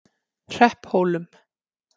Hrepphólum